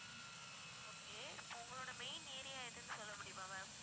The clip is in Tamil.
okay இப்ப உங்களோட main area எதுன்னு சொல்ல முடியுமா ma'am